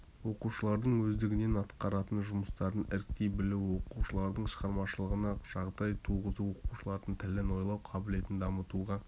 оқушылардың өздігінен атқаратын жұмыстарын іріктей білуі оқушылардың шығармашылығына жағдай туғызу оқушылардың тілін ойлау қабілетін дамытуға